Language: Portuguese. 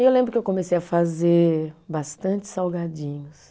E eu lembro que eu comecei a fazer bastante salgadinhos.